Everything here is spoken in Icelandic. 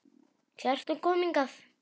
Kjartan kom hingað.